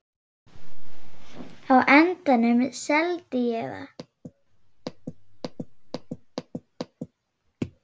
Á endanum seldi ég það.